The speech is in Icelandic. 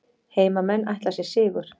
Heimamenn ætla sér sigur